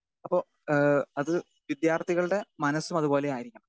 Speaker 2 അപ്പോ ഏഹ് അത് വിദ്യാർഥികളുടെ മനസ്സും അതുപോലെ ആയിരിക്കണം.